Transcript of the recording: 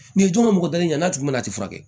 N'i dun ma mɔgɔ dalen ɲa n'a kun mɛ na i ti furakɛ